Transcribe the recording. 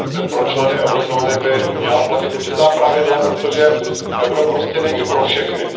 Pro členy eurozóny by měla platit určitá pravidla, protože euro prostě není pro všechny.